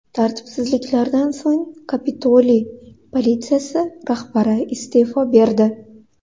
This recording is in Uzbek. Tartibsizliklardan so‘ng Kapitoliy politsiyasi rahbari iste’fo berdi .